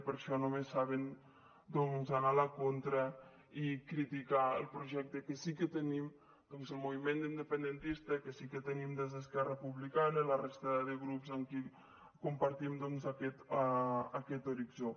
per això només saben anar a la contra i criticar el projecte que sí que tenim el moviment independentista que sí que tenim des d’esquerra republicana i la resta de grups amb qui compartim doncs aquest horitzó